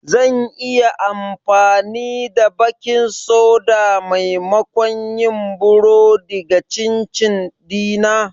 Zan iya amfani da baking soda maimakon yin burodi ga chin chin dina?